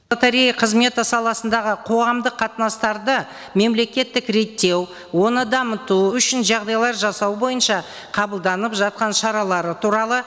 лотерея қызметі саласындағы қоғамдық қатынастарды мемлекеттік реттеу оны дамыту үшін жағдайлар жасау бойынша қабылданып жатқан шаралары туралы